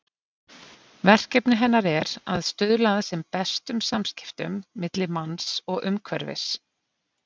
Verkefni hennar er að stuðla sem bestum samskiptum milli manns og umhverfis.